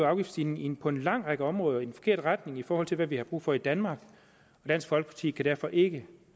afgiftsstigning på en lang række områder i den forkerte retning i forhold til hvad vi har brug for i danmark og dansk folkeparti kan derfor ikke